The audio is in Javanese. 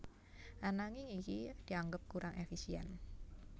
Ananging iki dianggep kurang éfisién